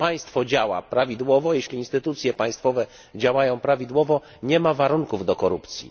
Jeśli państwo działa prawidłowo, jeśli instytucje państwowe działają prawidłowo, nie ma warunków do korupcji.